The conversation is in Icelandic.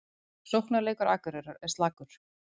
Sóknarleikur Akureyrar er slakur